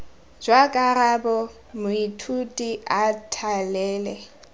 jwa karabo moithuti a thalele